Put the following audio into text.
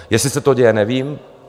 Jestli se to děje, nevím.